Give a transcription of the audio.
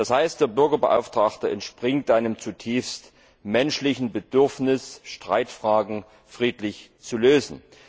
Das heißt, der Bürgerbeauftragte entspringt dem zutiefst menschlichen Bedürfnis, Streitfragen friedlich zu lösen.